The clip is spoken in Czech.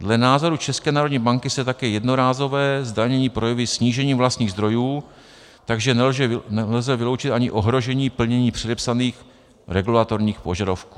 Dle názoru České národní banky se také jednorázové zdanění projeví snížením vlastních zdrojů, takže nelze vyloučit ani ohrožení plnění předepsaných regulatorních požadavků.